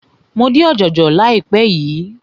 Mo dín ọ̀jọ̀jọ̀ láìpé yìí.